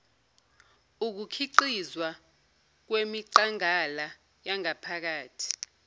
ukukhiqizwa kwemiqangala yangaphakathi